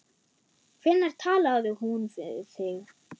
Hvenær talaði hún við þig?